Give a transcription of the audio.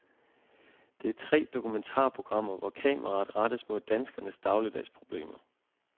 Det er tre dokumentarprogrammer, hvor kameraet rettes mod danskernes dagligdagsproblemer.